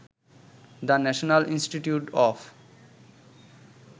the National Institute of